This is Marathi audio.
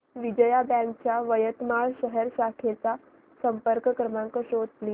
विजया बँक च्या यवतमाळ शहर शाखेचा संपर्क क्रमांक शोध प्लीज